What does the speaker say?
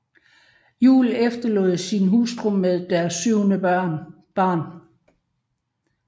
Juel efterlod sig sin hustru med deres syvende barn